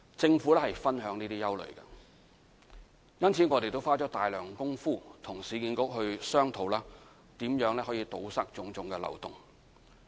政府理解這些憂慮，因此我們也花了大量工夫，與市區重建局商討如何堵塞種種漏洞。